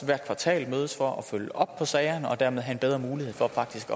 hvert kvartal mødes for at følge op på sagerne og dermed have en bedre mulighed for faktisk